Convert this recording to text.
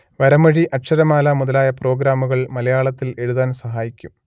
വരമൊഴി അക്ഷരമാല മുതലായ പ്രോഗ്രാമുകൾ മലയാളത്തിൽ എഴുതാൻ സഹായിക്കും